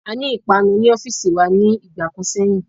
Aní ìpanu ní ọ́fìsì wa ní ìgbà kan sẹ́yìn.